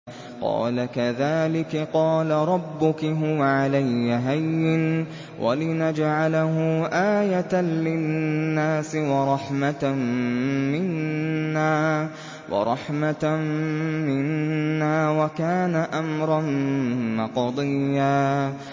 قَالَ كَذَٰلِكِ قَالَ رَبُّكِ هُوَ عَلَيَّ هَيِّنٌ ۖ وَلِنَجْعَلَهُ آيَةً لِّلنَّاسِ وَرَحْمَةً مِّنَّا ۚ وَكَانَ أَمْرًا مَّقْضِيًّا